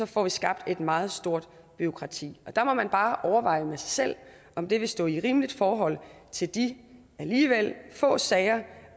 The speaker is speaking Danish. får vi skabt et meget stort bureaukrati der må man bare overveje med sig selv om det vil stå i rimeligt forhold til de alligevel få sager